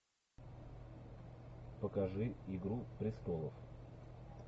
покажи игру престолов